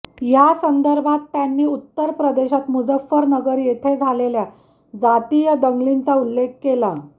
यासंदर्भात त्यांनी उत्तर प्रदेशात मुझफ्फरनगर येथे झालेल्या जातीय दंगलींचा उल्लेख केला